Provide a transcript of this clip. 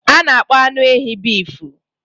A na-akpọ anụ ehi bịfu.